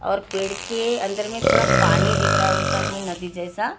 और पेड़ के अंदर में थोड़ा पानी दीख रहा है उस साथ में नदी जैसा --